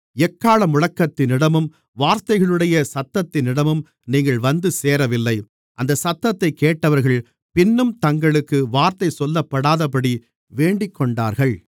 எக்காளமுழக்கத்தினிடமும் வார்த்தைகளுடைய சத்தத்தினிடமும் நீங்கள் வந்து சேரவில்லை அந்தச் சத்தத்தைக் கேட்டவர்கள் பின்னும் தங்களுக்கு வார்த்தை சொல்லப்படாதபடி வேண்டிக்கொண்டார்கள்